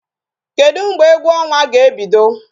Kedu mgbe egwu ọnwa na-ebido?